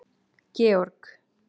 Georg